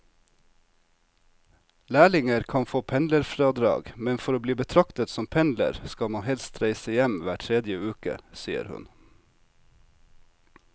Lærlinger kan få pendlerfradrag, men for å bli betraktet som pendler skal man helst reise hjem hver tredje uke, sier hun.